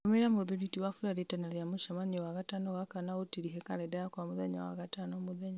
tũmĩra mũthuri ti wafula rĩtana rĩa mũcemanio wagatano gaka na ũtirihe karenda yakwa mũthenya wa gatano mũthenya